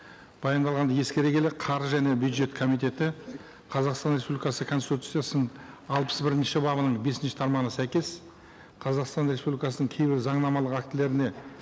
баяндалғанды ескере келе қаржы және бюджет комитеті қазақстан республикасы конституциясының алпыс бірінші бабының бесінші тармағына сәйкес қазақстан республикасының кейбір заңнамалық актілеріне